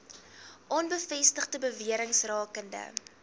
onbevestigde bewerings rakende